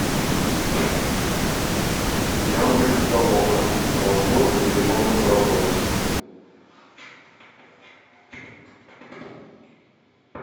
яндекс толока развод или можно заработать